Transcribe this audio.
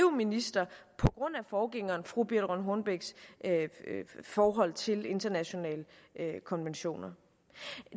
minister på grund af forgængerens fru birthe rønn hornbechs forhold til internationale konventioner